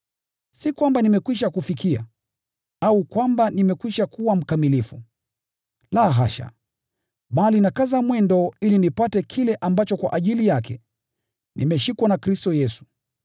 Si kwamba nimekwisha kufikia, au kwamba nimekwisha kuwa mkamilifu, la hasha! Bali nakaza mwendo ili nipate kile ambacho kwa ajili yake, nimeshikwa na Kristo Yesu.